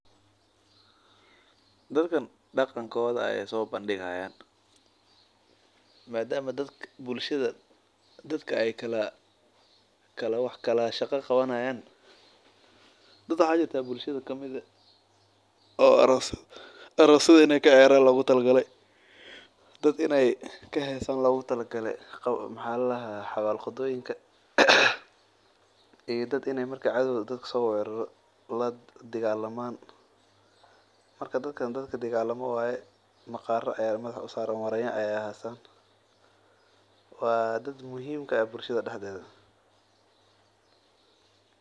Dadkan daqankooda ayeey soo bandigi haayan dadka ayeey kala shaqa qabani haayan dad waxaa jirta arosyada inaay kaciyaran loogu tala galay iyo dad inaay dagalamaan marka kuwan waa kuwa dagaalka waa dad muhiim ka ah bulshada dexdeeda.